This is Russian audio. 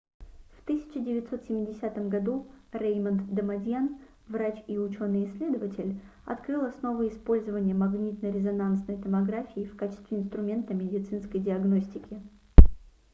в 1970 году реймонд дамадьян врач и учёный-исследователь открыл основы использования магнитно-резонансной томографии в качестве инструмента медицинской диагностики